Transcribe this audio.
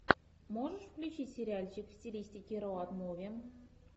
можешь включить сериальчик в стилистике роуд муви